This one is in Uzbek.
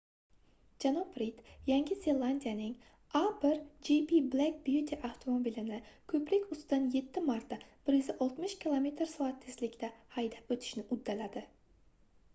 janob rid yangi zelandiyaning a1gp black beauty avtomobilini ko'prik ustidan yetti marta 160 km/soat tezlikda haydab o'tishni uddaladi